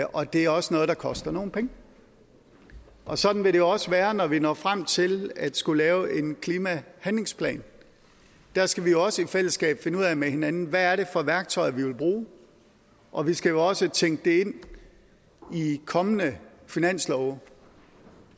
og det er også noget der koster nogle penge og sådan vil det også være når vi når frem til at skulle lave en klimahandlingsplan der skal vi også i fællesskab finde ud af med hinanden hvad det er for værktøjer vi vil bruge og vi skal jo også tænke det ind i kommende finanslove